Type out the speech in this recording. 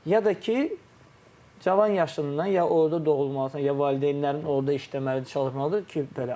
Ya da ki, cavan yaşından ya orda doğulmalısan, ya valideynlərin orda işləməlidir, çalışmalıdır ki, belə.